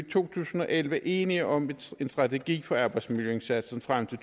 to tusind og elleve enige om en strategi for arbejdsmiljøindsatsen frem til